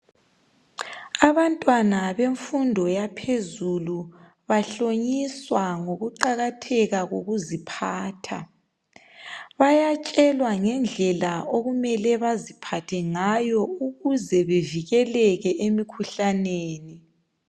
Abantwana bemfundo yaphezulu bahlonyiswa ngokuqakatheka kokuziphatha. Bayatshelwa ngendlela okumele baziphathe ngayo ukuze bevikeleke emikhuhlaneni.